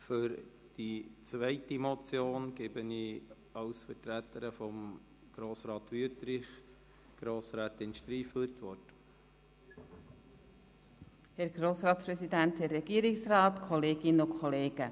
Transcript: Für die zweite Motion gebe ich Grossrätin Striffeler als Vertreterin von Grossrat Wüthrich das Wort.